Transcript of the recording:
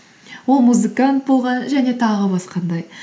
ол музыкант болған және тағы